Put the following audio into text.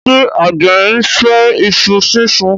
ṣe àgbẹ̀ ńfẹ iṣu sísun?